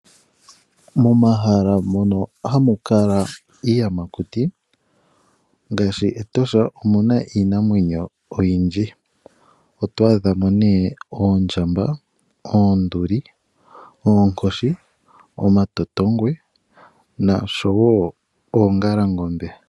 Momahala mono hamu kala iiyamakuti ngaashi meEtosha omuna iinamwenyo oyindji. Oto adha mo nee oondjamba, oonduli, oonkoshi, omatotongwe noshowo oongalangombe.